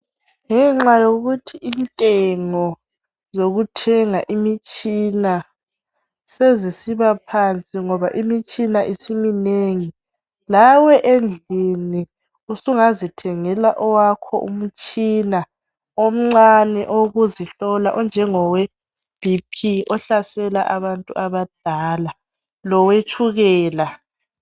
Ngenxa yokuthi imithengo zokuthenga imitshina sizisiba phansi ngoba imitshina isiminrngi lawe endlini usungazithengela owakhe umtshina omncane owebhiphi ohlasela abantu abadla lowetshukela.